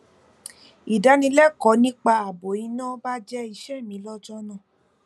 ìdánilẹkọọ nípa ààbò iná baje iṣé mi lọjọ náà